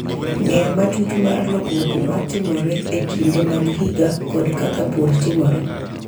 Ng’eyo matut mar lokruok ma timore e kinde mag higa kod kaka pur timore,